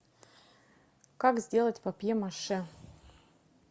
как сделать папье маше